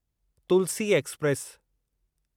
Tulsi express